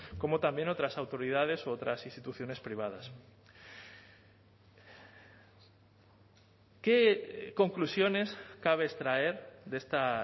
como también otras autoridades u otras instituciones privadas qué conclusiones cabe extraer de esta